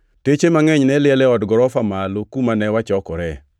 Teche mangʼeny ne liel e od gorofa malo kuma ne wachokore.